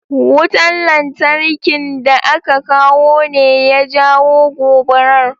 Wutan lantarkin da aka kawo ne ya jawo gobarar?